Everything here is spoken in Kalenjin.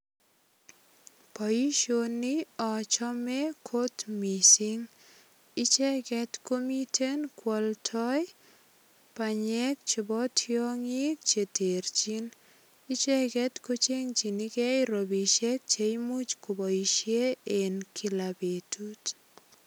Boisioni achame kot mising. Icheget komiten kwoldoi banyek chebo tiongik che terchin. Icheget ko chengchini gei ropisiek che imuch koboisie en kila betut.